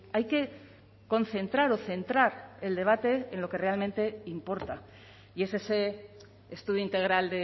hay que concentrar o centrar el debate en lo que realmente importa y es ese estudio integral